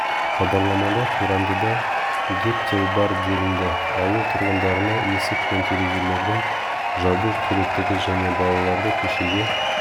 хабарламада қирандыда гептил бар делінді ауыл тұрғындарына есік пен терезелерді жабу керектігі және балаларды көшеге